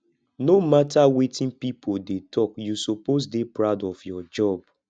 no matter wetin pipo dey talk you suppose dey proud of your job